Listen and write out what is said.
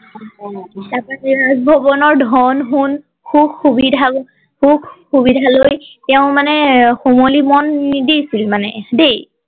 তাৰ পৰা ৰাজ ভৱনৰ ধন সোণ সুখ সুবিধা বোৰ সুখ সুবিধা লৈ তেওঁ মানে শুৱলি মন নিদিছিল মানে দেই